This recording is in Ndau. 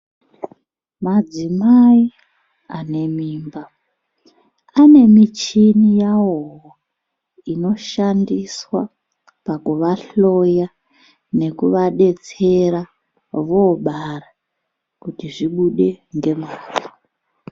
Madzimai ane mimba, ane michini yavowo , inoshandiswa pakuvahloya, nekuvadetsera ,voobara kuti zvibude ngemwazvo.